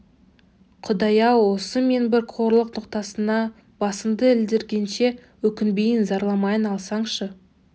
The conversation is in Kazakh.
құдай-ау осы мен бір қорлық ноқтасына басымды ілдіргенше өкінбейін зарламайын алсаңшы